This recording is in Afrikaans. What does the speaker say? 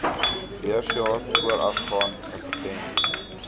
beursjaar voorafgaan advertensies